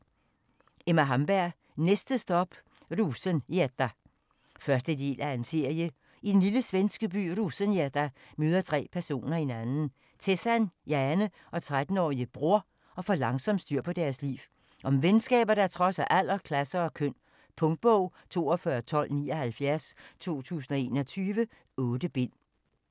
Hamberg, Emma: Næste stop Rosengädda 1. del af serie. I den lille svenske by Rosengädda møder tre personer hinanden, Tessan, Jane og 13-årige Bror, og får langsomt styr på deres liv. Om venskaber, der trodser alder, klasser og køn. Punktbog 421279 2021. 8 bind.